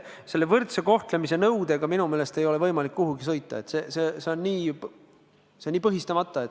Selle võrdse kohtlemise nõudega minu meelest ei ole võimalik kuhugi sõita, see on nii põhistamata.